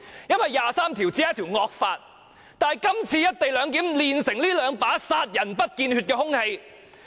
因為第二十三條只是一條"惡法"，但今次"一地兩檢"煉成這兩把殺人不見血的兇器。